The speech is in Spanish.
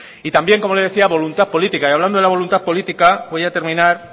y también como le decía voluntad política y hablando de la voluntad política voy a terminar